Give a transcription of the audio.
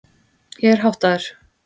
Ég er háttaður.